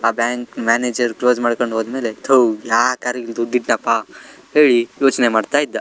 ಆ bank manager close ಮಾಡ್ಕೊಂಡ್ ಹೋದ್ಮೇಲೆ ಥು ಯಾಕ್ ಆರು ಇಲ್ ದುಡ್ ಇತ್ನಪ್ಪ ಹೇಳಿ ಯೋಚ್ನೆ ಮಾಡ್ತಾ ಇದ್ದ.